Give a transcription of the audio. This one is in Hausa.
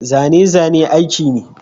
Zane-zane aiki ne.